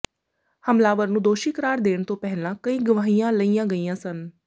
ਹਮਲਾਵਰ ਨੂੰ ਦੋਸ਼ੀ ਕਰਾਰ ਦੇਣ ਤੋਂ ਪਹਿਲਾਂ ਕਈ ਗਵਾਹੀਆਂ ਲਈਆਂ ਗਈਆਂ ਸਨ